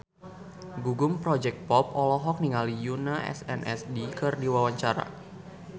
Gugum Project Pop olohok ningali Yoona SNSD keur diwawancara